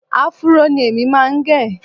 Áfúró ni èmi máa ń gẹ